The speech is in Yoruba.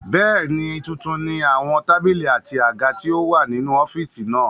Bẹ́ẹ̀ni, tuntun ni àwọn tábìlì àti àga tí ó wà nínú ọ́fìsì náà